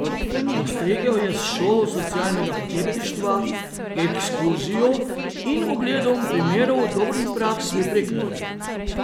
Postregel je s šolo socialnega podjetništva, ekskurzijo in ogledom primerov dobrih praks v Prekmurju.